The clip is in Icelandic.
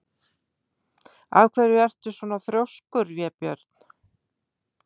Af hverju ertu svona þrjóskur, Vébjörn?